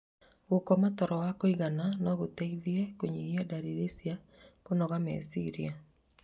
Gũkoma toro wa kũigana no gũteithie kũnyihia ndariri cia kũnoga meciria.